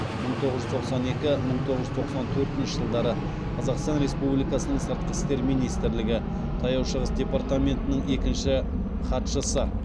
мың тоғыз жүз тоқсан екі мың тоғыз жүз тоқсан төртінші жылдары қазақстан республикасының сыртқы істер министрлігі таяу шығыс департаментінің екінші хатшысы